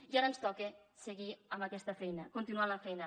i ara ens toca seguir amb aquesta feina continuar la feina